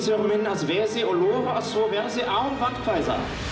minn að veði og lofa því að svo verði án vandkvæða